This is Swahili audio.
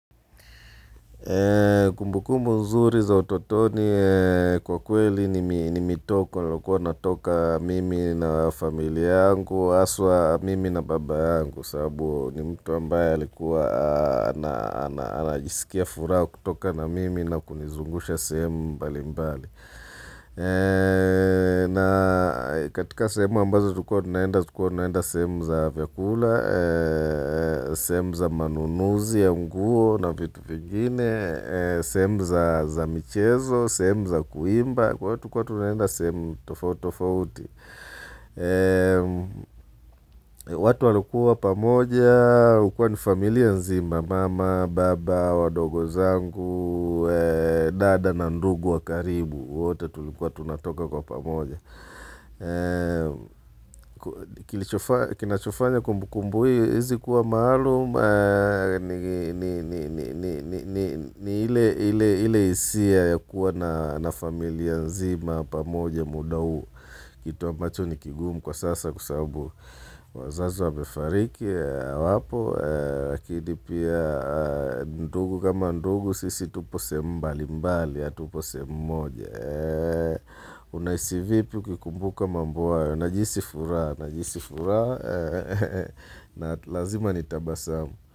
Kumbuku nzuri za utotoni kwa kweli ni mitoko nilikua natoka mimi na familia yangu haswa mimi na baba yangu sababu ni mtu ambaye alikuwa anajisikia furaha kutoka na mimi na kunizungusha sehemu mbali mbali na katika sehemu ambazo tulikuwa tunaenda tulikua tunaenda sehemu za vyakula sehemu za manunuzi ya nguo na vitu vingine sehemu za michezo, sehemu za kuimba kwa hio tulikua tunaenda sehemu tofauti tofauti watu walikua pamoja ilikua ni familia nzima, mama, baba, wadogo zangu dada na ndugu wakaribu wote tulikuwa tunatoka kwa pamoja kinachofanya kumbu kumbu hizi kuwa maalum ni ile hisia ya kuwa na familia nzima pamoja muda huo kitu ambacho ni kigumu kwa sasa kwa sababu wazazi wamefariki hawapo. Lakini pia ndugu kama ndugu sisi tupo sehemu mbali mbali hatupo sehemu moja. Unahisi vipi ukikumbuka mambo haya? Najihisi furaha. Najihisi furaha na lazima nitabasamu.